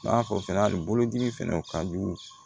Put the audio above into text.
N'a fɔ fɛnɛ ali bolodimi fɛnɛ o ka jugu